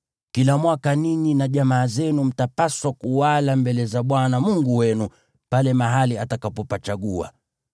Kila mwaka ninyi na jamaa zenu mtapaswa kuwala mbele za Bwana Mungu wenu pale mahali atakapopachagua.